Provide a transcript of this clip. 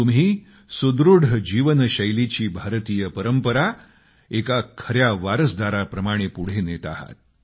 तुम्ही सुदृढ जीवनशैलीची भारतीय परंपरा एक खर्या वारसदाराप्रमाणे पुढे नेत आहात